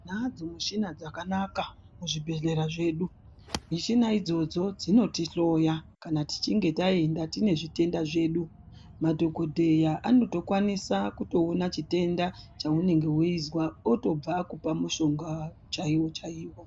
Tinadzo michina dzakanaka muzvibhedhlera zvedu. Michina idzodzo dzinotihloya kana tichinge taenda tine zvitenda zvedu. Madhokodheya anotokwanisa kuona chitenda chaunenge weizwa, otobva akupa mushonga ,chaiwo-chaiwo.